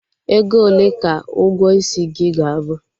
Ego ole ka ụgwọ isi gị ga-abụ?